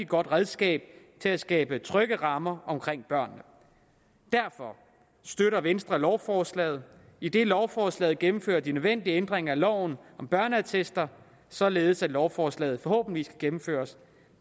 godt redskab til at skabe trygge rammer omkring børnene derfor støtter venstre lovforslaget idet lovforslaget gennemfører de nødvendige ændringer af loven om børneattester således at lovforslaget forhåbentlig kan gennemføres